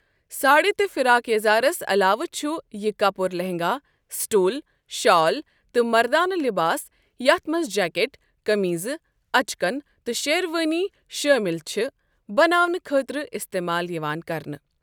ساڑِ تہٕ فراک یزارس علاوٕ چھُ یہِ کپُر لہنگا، سٹول، شال تہٕ مردانہٕ لباس یتھ منٛز جیکٹ، قمیضہٕ، اچکن تہٕ شیروانی شٲمِل چھِ بناونہٕ خٲطرٕ استعمال یِوان کرنہٕ۔